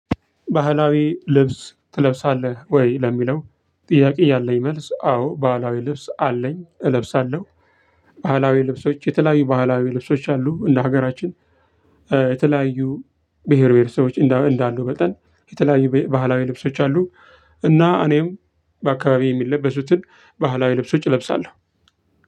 ባህላዊ ልብስ ትለብሳለህ ወይ ለሚለው ጥያቄ ያለኝ መልስ አዎ ባህላዊ ልብስ አለኝ እለብሳለሁ። ባህላዊ ልብሶች የተለያዩ ባህላዊ ልብሶች አሉ እንደ ሀገራችን የተለያዩ ብሄር ብሄረሰቦች እንዳሉ መጠን የተለያዩ ባህላዊ ልብሶች አሉ። እና እኔም በአካባቢ የሚለበሱትን ባህላዊ ልብሶች እለብሳለሁ።